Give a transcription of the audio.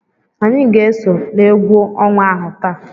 Anyị ga-eso n'egwu ọnwa ahụ taa.